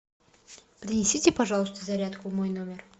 принесите пожалуйста зарядку в мой номер